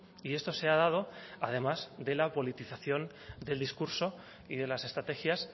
y esto se ha dado además de la politización del discurso y de las estrategias